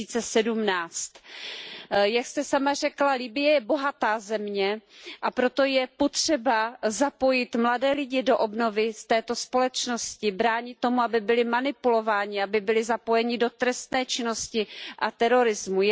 2017. Jak jste sama řekla, Libye je bohatá země, a proto je potřeba zapojit mladé lidi do obnovy této společnosti, bránit tomu, aby byli manipulováni, aby byli zapojeni do trestné činnosti a terorismu.